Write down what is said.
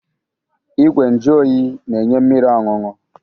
Igwe nju oyi na-enye mmiri ọñụñụ.